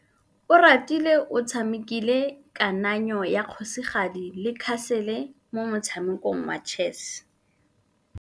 Oratile o tshamekile kananyô ya kgosigadi le khasêlê mo motshamekong wa chess.